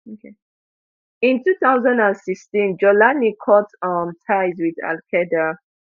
in two thousand and sixteen jawlani cut um ties wit alqaeda